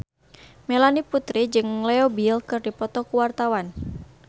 Melanie Putri jeung Leo Bill keur dipoto ku wartawan